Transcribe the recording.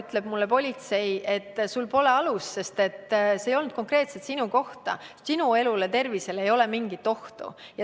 Praegu ütleks politsei mulle nii, et sul pole alust, sest see ei olnud suunatud konkreetselt sinu pihta, sinu elule ja tervisele ei ole mingit ohtu.